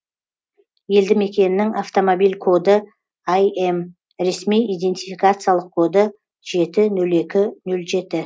елді мекеннің автомобиль коды ім ресми идентификациялық коды жеті нөл екі нөл жеті